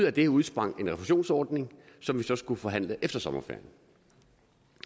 af det udsprang en refusionsordning som så skulle forhandles efter sommerferien